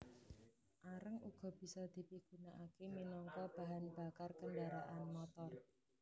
Areng uga bisa dipigunakaké minangka bahan bakar kendharaan motor